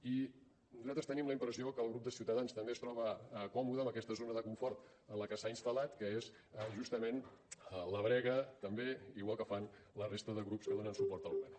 i nosaltres tenim la impressió que el grup de ciutadans també es troba còmode en aquesta zona de confort en la que s’ha instal·lat que és justament la brega també igual que fan la resta de grups que donen suport al govern